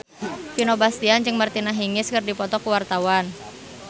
Vino Bastian jeung Martina Hingis keur dipoto ku wartawan